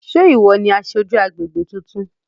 Sé ìwọ ni aṣojú agbègbè tuntun?